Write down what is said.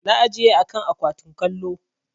Na ajiye a kan akwatin kallo.